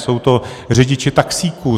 Jsou to řidiči taxíků.